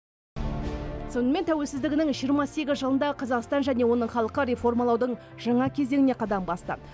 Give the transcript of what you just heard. сонымен тәуелсіздігінің жиырма сегіз жылында қазақстан және оның халқы реформалаудың жаңа кезеңіне қадам басты